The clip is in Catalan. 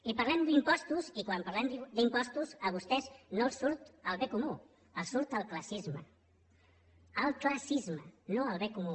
i parlem d’impostos i quan parlem d’impostos a vostès no els surt el bé comú els surt el classisme el classisme no el bé comú